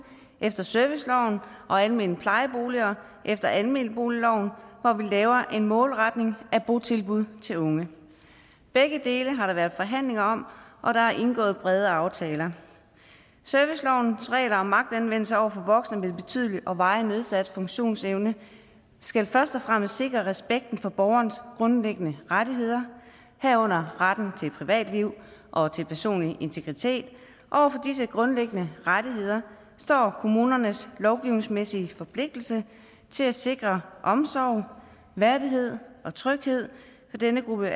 efter serviceloven og almene plejeboliger efter almenboligloven hvor vi laver en målretning af botilbud til unge begge dele har der været forhandlinger om og der er indgået brede aftaler servicelovens regler om magtanvendelse over for voksne med betydelig og varigt nedsat funktionsevne skal først og fremmest sikre respekten for borgerens grundlæggende rettigheder herunder retten til privatliv og til personlig integritet over for disse grundlæggende rettigheder står kommunernes lovgivningsmæssige forpligtelse til at sikre omsorg værdighed og tryghed for denne gruppe